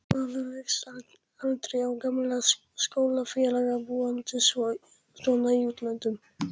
Maður rekst aldrei á gamla skólafélaga, búandi svona í útlöndum.